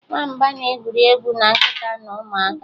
Nwamba na-egwuri egwu na nkịta na ụmụaka.